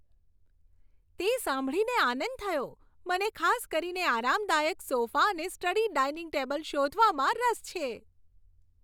તે સાંભળીને આનંદ થયો! મને ખાસ કરીને આરામદાયક સોફા અને સ્ટડી ડાઇનિંગ ટેબલ શોધવામાં રસ છે.